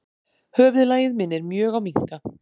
Höfuðlagið minnir mjög á minka.